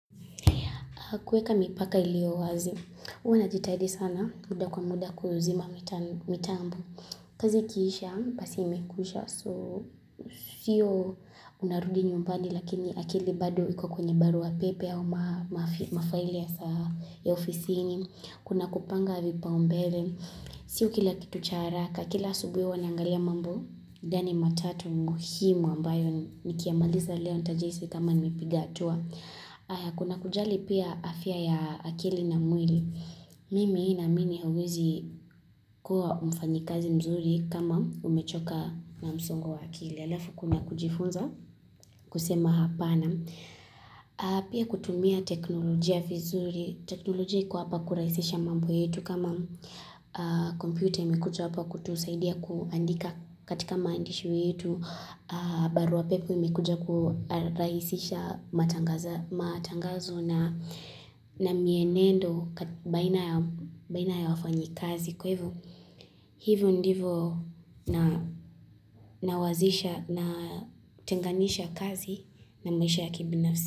Kuweka mipaka iliyo wazi, huwa najitahidi sana, muda kwa muda kuuzima mitambo, kazi ikiisha, pasi imekwisha, so sio unarudi nyumbani, lakini akili bado iko kwenye barua pepe au mafaili ya ofisini, kuna kupanga vipaumbele, sio kila kitu cha haraka, kila asubuhi huwa ninaangalia mambo, gani matatu muhimu ambayo nikiyamaliza leo nitajihisi kama nimepiga hatua. Aya kuna kujali pia afya ya akili na mwili. Mimi naamini hauwezi kuwa mfanyikazi mzuri kama umechoka na msongo wa akili. Alafu kuna kujifunza kusema hapana. Pia kutumia teknolojia vizuri. Teknolojia iko hapa kurahisisha mambo yetu kama kompyuta imekuja hapa kutusaidia kuandika katika maandishi yetu. Barua pepe imekuja kurahisisha matangazo na mienendo baina ya wafanyikazi kwa hivi. Hivyo ndivyo nawazisha natenganisha kazi na maisha ya kibinafsi.